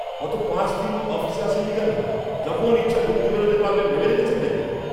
গত পাঁচ দিন অফিসে আসেননি কেন? যখন ইচ্ছা ঢুকতে বেরোতে পারবেন ভেবে রেখেছেন নাকি?